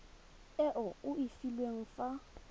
e o e filweng fa